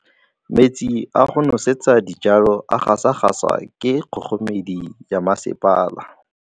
Metsi a go nosetsa dijalo a gasa gasa ke kgogomedi ya masepala.